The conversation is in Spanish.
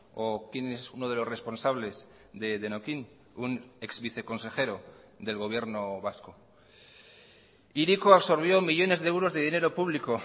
o quien es uno de los responsables de denokinn un ex viceconsejero del gobierno vasco hiriko absorbió millónes de euros de dinero público